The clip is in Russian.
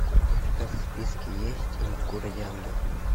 у тебя в списке есть день в городе ангелов